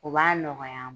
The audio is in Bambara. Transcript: U b'a nɔgɔya